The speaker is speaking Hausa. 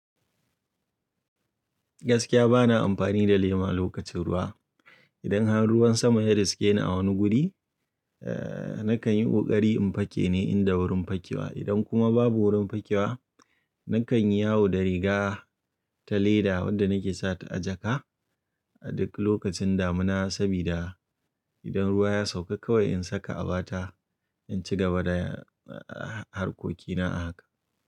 Gaskiya bana amfani da lema lokacin ruwa. Idan har ruwan sama ya riske ni a wani guri, eh, nakan yi ƙoƙari in fake ne in da wurin fakewa. Idan kuma babu wurin fakewa, nakan yi yawo da riga ta leda wadda nake sa ta a jaka a duk lokacin damina sabida idan ruwa ya sauka kawai in saka a bata in ci gaba da, eh, harkokina a haka.